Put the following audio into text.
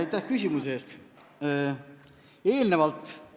Aitäh küsimuse eest!